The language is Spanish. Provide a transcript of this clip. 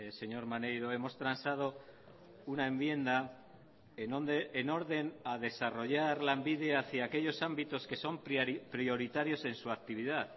señor maneiro hemos transado una enmienda en donde en orden a desarrollar lanbide hacia aquellos ámbitos que son prioritarios en su actividad